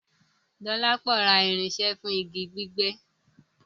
Dọlápọ̀ rá irinṣẹ́ fún igi gbígbẹ́